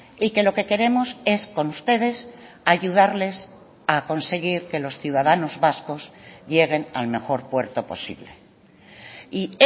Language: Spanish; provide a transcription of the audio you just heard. y que lo que queremos es con ustedes ayudarles a conseguir que los ciudadanos vascos lleguen al mejor puerto posible y